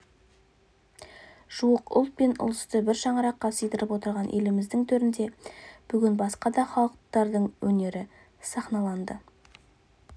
жуық ұлт пен ұлысты бір шаңыраққа сыйдырып отырған еліміздің төрінде бүгін басқа да халықтардың өнері сахналанды